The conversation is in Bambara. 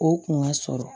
O kun ka sɔrɔ